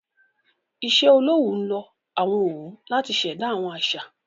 iṣẹ-olowu nlọ àwọn òwu láti ṣ'èdá àwọn àṣà.